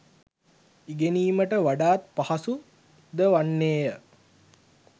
ඉගෙනීමට වඩාත් පහසු ද වන්නේ ය.